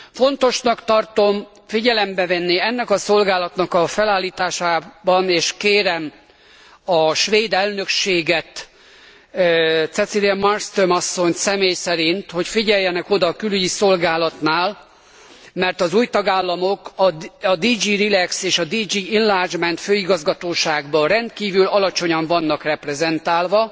Fontosnak tartom figyelembe venni ennek a szolgálatnak a felállításában, és kérem a svéd elnökséget Cecilia Malmström asszonyt személy szerint hogy figyeljenek oda a külügyi szolgálatnál, mert az új tagállamok a DG Relex és DG Enlargement főigazgatóságban rendkívül alacsonyan vannak reprezentálva.